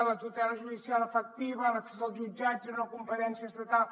la tutela judicial efectiva l’accés als jutjats era una competència estatal